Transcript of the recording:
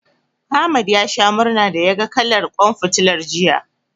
Ahmad ya sha murna da yaga kalar ƙwan fitilar, jiya.